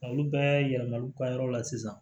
Olu bɛɛ yɛlɛmal'u ka yɔrɔ la sisan